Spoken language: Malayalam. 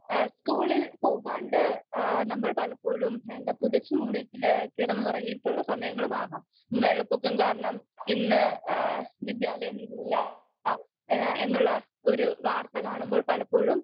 സ്പീക്കർ 2 എഹ് സ്കൂളിൽ പോകാണ്ട് ഏഹ് നമ്മൾ പലപ്പോഴും എന്താ പുതച്ച് മൂടി ഏഹ് കിടന്നുറങ്ങിട്ടുള്ള സമയങ്ങളും ആവാം വെള്ളപൊക്കം കാരണം ഇന്ന് ഏഹ് വിദ്യാലയം ഇല്ല എന്നുള്ള ഒരു വാർത്ത കാണുമ്പോ പലപ്പോഴും